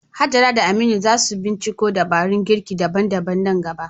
Hajara da Aminu za su binciko dabarun girki daban-daban nan gaba.